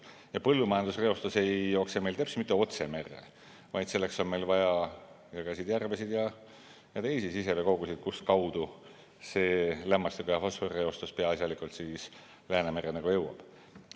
Ja põllumajandusreostus ei jookse teps mitte otse merre, vaid selleks on vaja jõgesid, järvesid ja teisi siseveekogusid, kust kaudu lämmastiku- ja fosforireostus peaasjalikult Läänemerre jõuab.